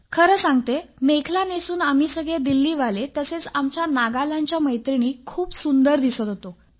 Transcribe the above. खरं सांगते मेखला नेसून आम्ही सगळे दिल्ली वाले तसेच आमच्या नागालँडच्या मैत्रिणी पण खूप सुंदर दिसत होतो